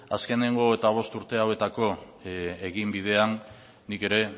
azkeneko hogeita bost urte hauetako eginbidean nik ere